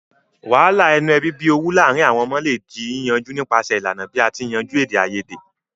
Wàhàlà inu ebí bi owú láàrin àwon ọmọ le ji yíyanjú nipasẹ̀ ìlànà bi a ti n yanjú èdèayedè